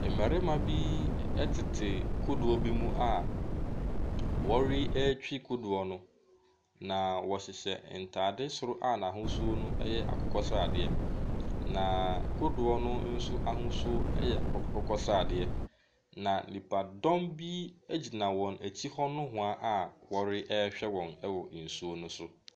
Mmarima bi ɛtete kodoɔ bi mu a ɔretwi kodoɔ no. na ɔhyehyɛ ntaade soro a n'ahosuo no ɛyɛ akokɔɔ sradeɛ. Na kodoɔ no nso ahosuo yɛ akokɔ sradeɛ. Na nnipadɔm bi gyina wɔn akyi nowhaa a ɔrehwɛ wɔn wɔ nsuo no so.